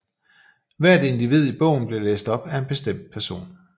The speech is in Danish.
Hver individ i bogen blev læst op af en bestemt person